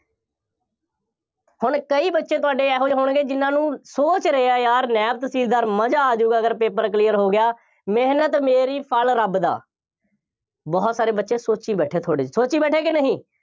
ਹੁਣ ਕਈ ਬੱਚੇ ਤੁਹਾਡੇ ਇਹੋ ਜਿਹੇ ਹੋਣਗੇ, ਜਿੰਨ੍ਹਾ ਨੂੰ ਸੋਚ ਰਹੇ ਆ ਯਾਰ, ਨਾਇਬ ਤਹਿਸੀਲਦਾਰ, ਮਜ਼ਾ ਆ ਜਾਊਗਾ, ਅਗਰ paper clear ਹੋ ਗਿਆ, ਮਿਹਨਤ ਮੇਰੀ ਫਲ ਰੱਬ ਦਾ ਬਹੁਤ ਸਾਰੇ ਬੱਚੇ ਸੋਚੀ ਬੈਠੇ ਆ ਥੋੜ੍ਹੇ, ਸੋਚੀ ਬੈਠੇ ਆ ਕਿ ਨਹੀਂ